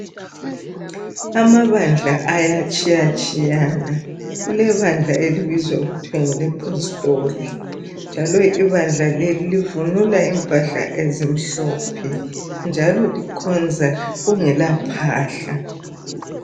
Amabandla ayatshiyatshiyana kulebandla elibizwa okuthwa ngelePostoli njalo ibandla leli livunula impahla ezimhlophe njalo ibandla leli likhonza kungela phahla.